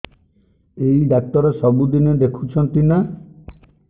ଏଇ ଡ଼ାକ୍ତର ସବୁଦିନେ ଦେଖୁଛନ୍ତି ନା